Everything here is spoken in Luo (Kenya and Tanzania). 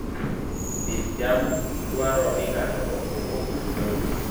Pidh cham dwaro ni ng'ato okwong opidh lowo.